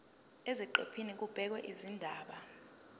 eziqephini kubhekwe izindaba